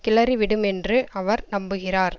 கிளறி விடுமென்று அவர் நம்புகிறார்